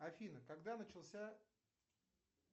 афина когда начался